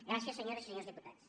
gràcies senyores i senyors diputats